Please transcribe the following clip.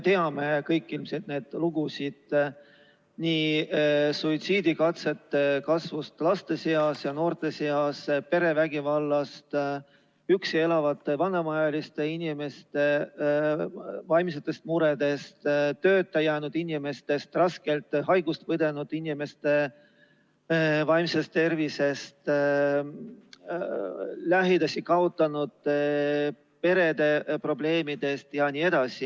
Me kõik ilmselt teame neid lugusid suitsiidikatsete kasvust laste ja noorte seas, perevägivallast, üksi elavate vanemaealiste inimeste vaimsetest muredest, tööta jäänud inimestest, rasket haigust põdenud inimeste vaimsest tervisest, lähedase kaotanud perede probleemidest jne.